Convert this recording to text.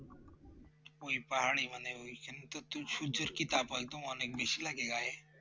ওই পাহাড়ে মানে ওইখানে তো সূর্যের কি তাপ হয় তোমার তো বেশি লাগে গায়ে